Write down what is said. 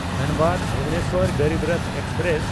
Dhanbad-Bhubaneswar Garib Rath express